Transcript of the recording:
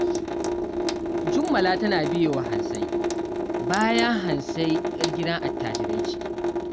Jummala tana biye wa Hansai, bayan Hansai 'yar gidan attajirai ce